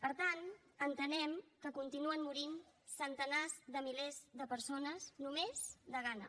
per tant entenem que continuen morint centenars de milers de persones només de gana